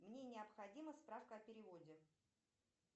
мне необходима справка о переводе